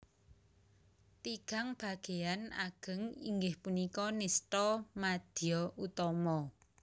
Tigang bageyan ageng inggih punika nistha madya utama